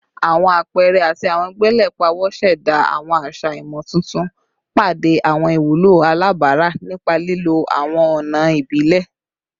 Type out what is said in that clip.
Awọn apẹẹrẹ ati awọn gbele pawo ṣẹda awọn aṣa imotuntun, pade awọn iwulo alabara nipa lilo awọn ọna ibile